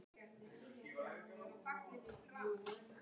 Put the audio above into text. Úlfar, hefur þú prófað nýja leikinn?